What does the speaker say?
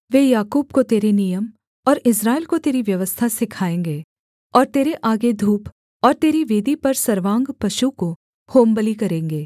वे याकूब को तेरे नियम और इस्राएल को तेरी व्यवस्था सिखाएँगे और तेरे आगे धूप और तेरी वेदी पर सर्वांग पशु को होमबलि करेंगे